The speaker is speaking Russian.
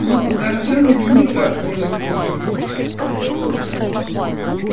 но огорчёнными никак не выглядели